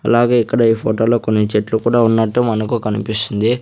అలాగే ఇక్కడ ఈ ఫోటోలో కొన్ని చెట్లు కూడా ఉన్నట్టు మనకు కనిపిస్తుంది.